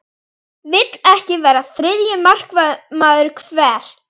Vill ekki vera þriðji markvörður Hvert?